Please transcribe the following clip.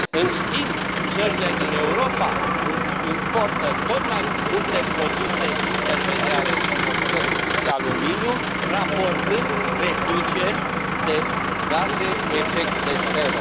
În schimb, țările din Europa importă tot mai multe produse intermediare din oțel și aluminiu, raportând reduceri de gaze cu efect de seră.